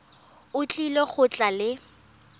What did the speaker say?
o tlile go tla le